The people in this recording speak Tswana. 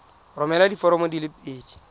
romela diforomo di le pedi